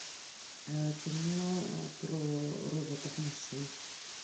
кино про роботов машин